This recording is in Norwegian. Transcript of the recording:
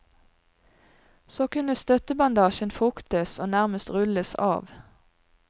Så kunne støttebandasjen fuktes og nærmest rulles av.